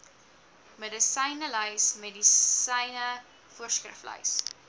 medisynelys medisyne voorskriflys